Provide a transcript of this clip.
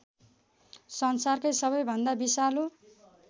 संसारकै सबैभन्दा विषालु